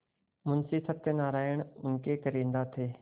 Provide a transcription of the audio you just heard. मुंशी सत्यनारायण उनके कारिंदा थे